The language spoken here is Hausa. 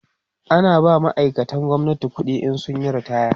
ana ba ma'aikatan gwamnati ƙuɗi in sun Yi ritaya